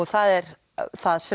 það er það sem